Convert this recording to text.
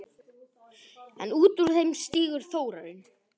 En út úr þeim stígur Þórarinn.